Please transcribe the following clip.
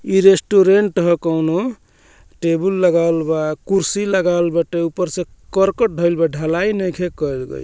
इ रेस्टुरेंट हअ कोनो टेबुल लगावल बा कुर्सी लगावल बाटे ऊपर से करकट धैएल बा ढलाई नइखे कइल गइल।